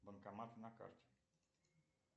банкоматы на карте